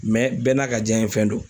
bɛɛ n'a ka diyanɲɛ fɛn don.